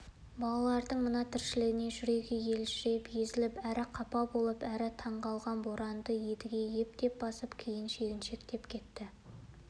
балалардың мына тіршілігіне жүрегі елжіреп езіліп әрі қапа болып әрі таңғалған боранды едіге ептеп басып кейін шегіншектеп кетті